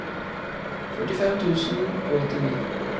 førtifem tusen og åttini